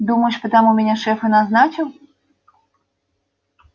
думаешь потому меня шеф и назначил